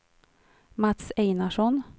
Mats Einarsson